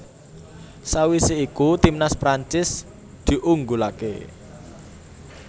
Sawisé iku timnas Prancis diunggulaké